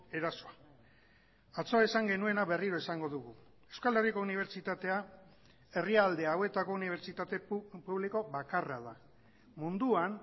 erasoa atzo esan genuena berriro esango dugu euskal herriko unibertsitatea herrialde hauetako unibertsitate publiko bakarra da munduan